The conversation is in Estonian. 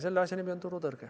Selle asja nimi on turutõrge.